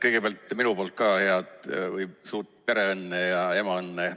Kõigepealt minu poolt ka head või suurt pereõnne ja emaõnne!